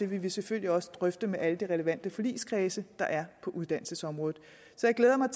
vi vil selvfølgelig også drøfte det med alle de relevante forligskredse der er på uddannelsesområdet så jeg glæder mig